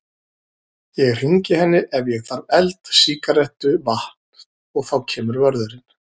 Ég hringi henni ef ég þarf eld, sígarettu, vatn. og þá kemur vörðurinn.